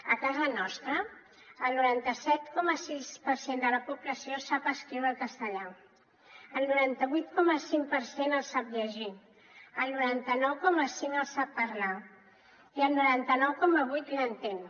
a casa nostra el noranta set coma sis per cent de la població sap escriure el castellà el noranta vuit coma cinc per cent el sap llegir el noranta nou coma cinc el sap parlar i el noranta nou coma vuit l’entén